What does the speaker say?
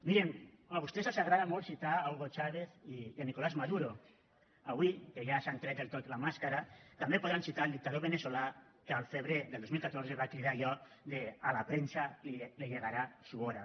mirin a vostès els agrada molt citar hugo chávez i nicolás maduro avui que ja s’han tret del tot la màscara també podran citar el dictador veneçolà que al febrer del dos mil catorze va cridar allò de a la prensa le llegará su hora